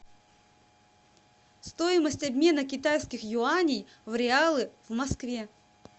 стоимость обмена китайских юаней в реалы в москве